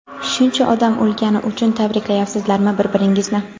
shuncha odam o‘lgani uchun tabriklayapsizlarmi bir-biringizni?.